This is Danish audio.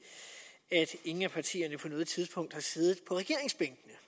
ingen af partierne på noget tidspunkt har siddet på regeringsbænkene